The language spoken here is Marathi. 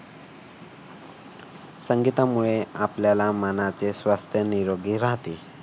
संगीतामुळे आपल्याला मनाचे स्वास्थ्य निरोगी राहते.